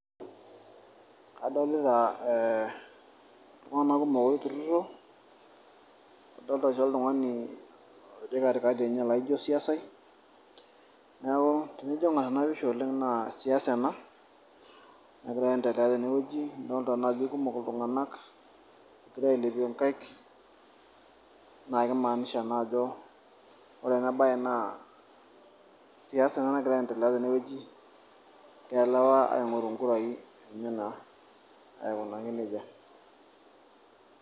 Kadolita eh iltung'anak kumok oturrurro, nadolta aisho oltung'ani otii katikati enye laijo osiasai, neeku tenijo aing'or enapisha oleng' na siasa ena, egira aiendelea tenewueji. Adolta najo aikumok iltung'anak egira ailepie nkaik, na kimaanisha na ajo keesa ena nagira aiendelea tenewueji. Egira lewa aing'oru inkurai. Aikunaki nejia.